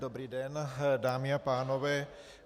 Dobrý den, dámy a pánové.